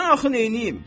Mən axı nəyləyim?